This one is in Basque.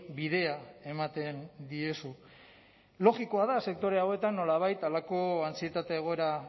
bidea ematen diezu logikoa da sektore hauetan nolabait halako antsietate egoera